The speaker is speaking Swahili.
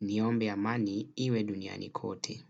Niombe amani iwe duniani kote.